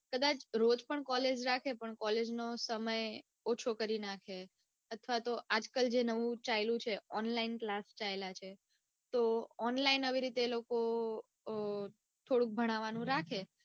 કદાચ રોજ પણ college રાખે પણ કોલેજ નો સમય ઓછો કરી નાખે અથવા તો આજકાલ નવું ચાઈલું છે online class ચાઈલા છે તો online આવી રીતે થોડું ભણવાનું રાખે